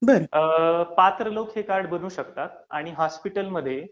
बरं